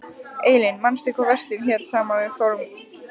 Eylín, manstu hvað verslunin hét sem við fórum í á sunnudaginn?